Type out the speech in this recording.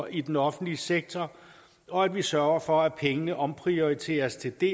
i den offentlige sektor og at vi sørger for at pengene omprioriteres til de